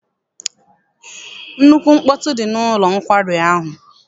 Nnukwu mkpọtụ dị n'ụlọ nkwari ahụ.